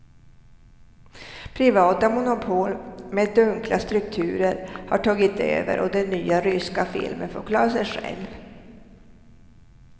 Privata monopol med dunkla strukturer har tagit över och den nya ryska filmen får klara sig själv.